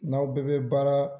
N'aw bɛɛ bɛ baara